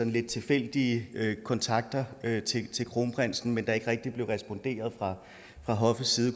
lidt tilfældige kontakter til kronprinsen men der er ikke rigtig blevet responderet fra hoffets side